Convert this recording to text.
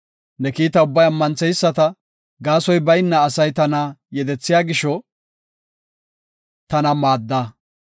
Ne kiita ubbay ammantheyisata; gaasoy bayna asay tana yedethiya gisho tana maadda.